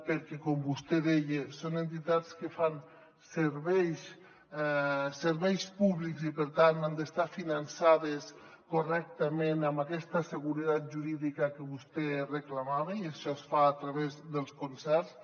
perquè com vostè deia són entitats que fan serveis públics i per tant han d’estar finançades correctament amb aquesta seguretat jurídica que vostè reclamava i això es fa a través dels concerts